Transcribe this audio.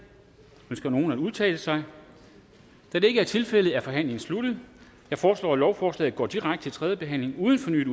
ønsker nogen at udtale sig da det ikke er tilfældet er forhandlingen sluttet jeg foreslår at lovforslaget går direkte til tredje behandling uden fornyet